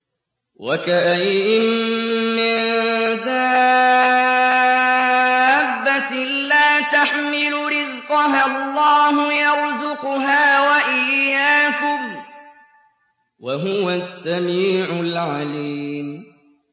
وَكَأَيِّن مِّن دَابَّةٍ لَّا تَحْمِلُ رِزْقَهَا اللَّهُ يَرْزُقُهَا وَإِيَّاكُمْ ۚ وَهُوَ السَّمِيعُ الْعَلِيمُ